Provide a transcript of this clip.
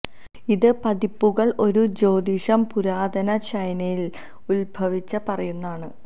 ഇത് പതിപ്പുകൾ ഒരു ജ്യോതിഷം പുരാതന ചൈനയിൽ ഉദ്ഭവിച്ച പറയുന്നു ആണ്